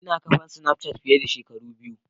Ina kafan snapchat fiye da shekara biyu.